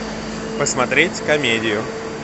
посмотреть комедию